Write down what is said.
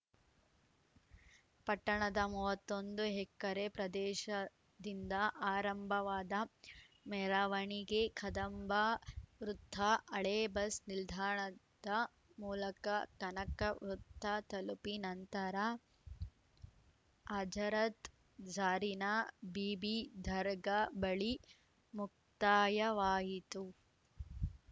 ಪಟ್ಟಣದ ಮೂವತ್ತ್ ಒಂದು ಹೆಕರೆ ಪ್ರದೇಶದಿಂದ ಆರಂಭವಾದ ಮೆರವಣಿಗೆ ಕದಂಬ ವೃತ್ತ ಹಳೇ ಬಸ್‌ ನಿಲ್ದಾಣದ ಮೂಲಕ ಕನಕ ವೃತ್ತ ತಲುಪಿ ನಂತರ ಅಜರತ್‌ ಜರೀನಾ ಬೀಬಿ ದರ್ಗಾ ಬಳಿ ಮುಕ್ತಾಯವಾಯಿತು